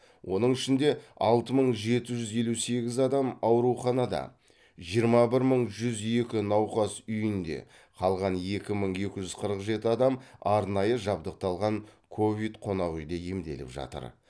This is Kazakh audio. оның ішінде алты мың жеті жүз елу сегіз адам ауруханада жиырма бір мың жүз екі науқас үйінде қалған екі мың екі жүз қырық жеті адам арнайы жабдықталған ковид қонақ үйде емделіп жатыр